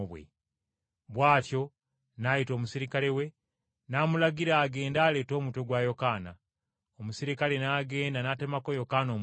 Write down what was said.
Bw’atyo n’ayita omuserikale we, n’amulagira agende aleete omutwe gwa Yokaana. Omuserikale n’agenda mu kkomera, n’atemako Yokaana omutwe,